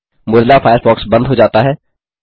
Mozilla Firefox बंद हो जाता है